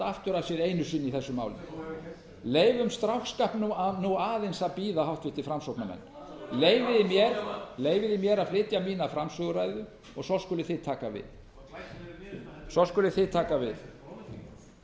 aftur af sér einu sinni í þessu máli þú hefur gert það leyfum stráksskapnum nú aðeins að bíða háttvirtur framsóknarmenn leyfið mér að flytja mína framsöguræðu og svo skuluð þið taka við það